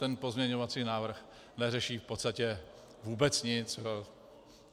Ten pozměňovací návrh neřeší v podstatě vůbec nic.